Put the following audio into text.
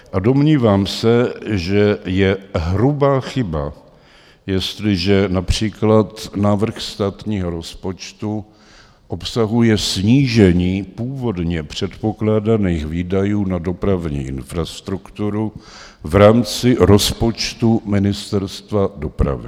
A domnívám se, že je hrubá chyba, jestliže například návrh státního rozpočtu obsahuje snížení původně předpokládaných výdajů na dopravní infrastrukturu v rámci rozpočtu Ministerstva dopravy.